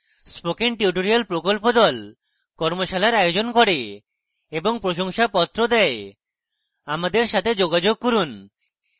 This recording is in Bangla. spoken tutorial প্রকল্প the কর্মশালার আয়োজন করে এবং প্রশংসাপত্র the আমাদের সাথে যোগাযোগ করুন